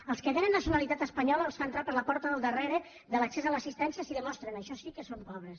als que tenen nacionalitat espanyola els fa entrar per la porta del darrere de l’accés a l’assistència si demostren això sí que són pobres